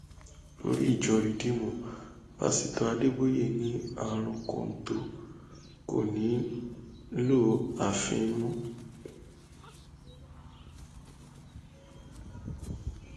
olórí ìjọ ridiimù pásítọ adébóyè ni um àrùn kọńtò kò ní í um lọ àfi